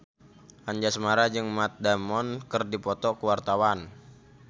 Anjasmara jeung Matt Damon keur dipoto ku wartawan